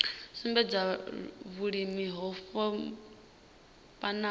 sumbedza vhulimi ho vhofhanaho ine